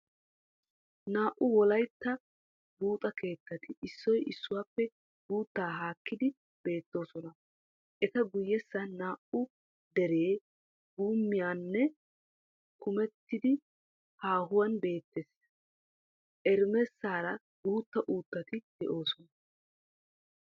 Naa"u wolaytta buuxa keettati issoy issuwappe guuttaa haakkidi beettoosona. Eta guyessan naa"u deree guummiyan kamettidi haahuwan beettees. Emeressaara guutta uuttati de'oosona.